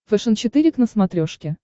фэшен четыре к на смотрешке